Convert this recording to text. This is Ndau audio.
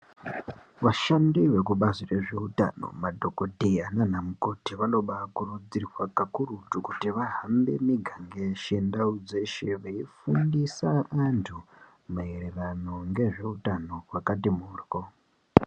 Vashandi vekubazi rezve utano madhokodheya nanamukoti vanoba vakurudzirwa kakurutu kuti vahambe miganga yeshe, ndau dzeshe veifundisa antu maererano ngezve utano wakati mhoryo.